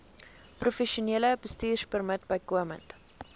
professionele bestuurpermit bykomend